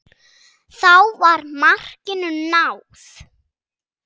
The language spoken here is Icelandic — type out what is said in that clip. Þá var markinu náð.